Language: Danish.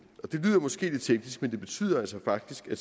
år det lyder måske lidt teknisk men det betyder altså faktisk at